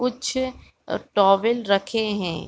कुछ अ टॉवल रखे हैं।